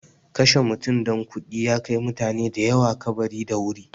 Kashe mutum don kuɗi ya kai mutane da yawa kabari da wuri.